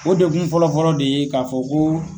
O dekun fɔlɔ fɔlɔ de ye ka fɔ ko